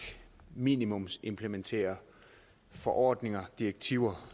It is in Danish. minimumsimplementerer forordninger og direktiver